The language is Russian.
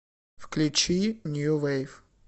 включи нью вейв